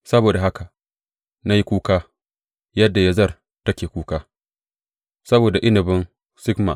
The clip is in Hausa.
Saboda haka na yi kuka, yadda Yazer take kuka, saboda inabin Sibma.